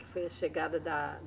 Que foi a chegada da